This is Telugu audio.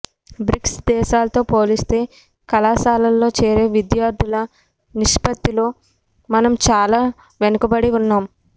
బ్రిక్స్ దేశాలతో పోలిస్తే కళాశాలల్లో చేరే విద్యార్థుల నిష్పత్తిలో మనం చాలా వెనుకబడి ఉన్నాం